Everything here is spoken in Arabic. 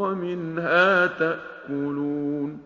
وَمِنْهَا تَأْكُلُونَ